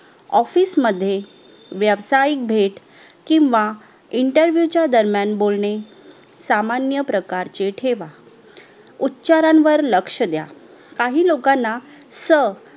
OFFICE मध्ये वेवसाइक भेट किव्हा INTERVIEW च्या दरम्यान बोलणे सामान्य प्रकारचे ठेवा उच्छारावर लक्ष्य द्या काही लोकांना स